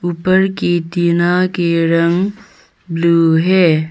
ऊपर की टीना के रंग ब्लू है।